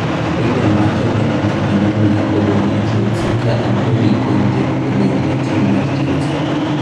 Willian wacho ni onge gima miyo odong' e Chelsea ka Antonio Conte odong' e tim mar Chelsea